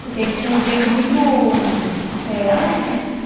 Porque ele tinha um jeito muito eh alegre, assim.